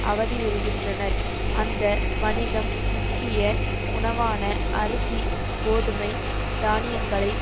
அவதியுறுகின்றனர் அந்த வணிகம் முக்கிய உணவான அரிசி கோதுமை தானியங்களை